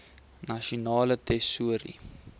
nasionale tesourie